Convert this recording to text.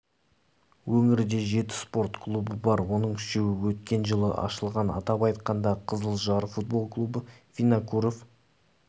өңірде жеті спорт клубы бар оның үшеуі өткен жылы ашылған атап айтқанда қызылжар футбол клубы винокуров